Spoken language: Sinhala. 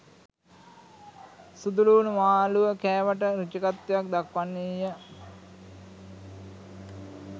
සුදුලූණු මාළුව කෑමට රුචිකත්වයක් දක්වන්නීය